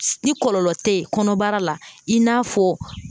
Ni kɔlɔlɔ tɛ yen kɔnɔbara la i n'a fɔ